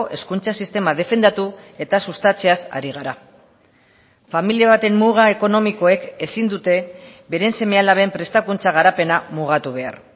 hezkuntza sistema defendatu eta sustatzeaz ari gara familia baten muga ekonomikoek ezin dute beren seme alaben prestakuntza garapena mugatu behar